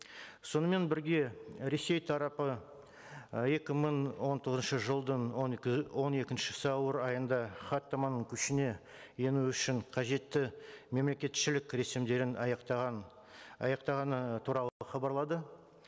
сонымен бірге ресей тарапы ы екі мың он тоғызыншы жылдың он он екінші сәуір айында хаттаманы күшіне ену үшін қажетті мемлекетшілік рәсімдерін аяқтаған аяқтағаны туралы хабарлады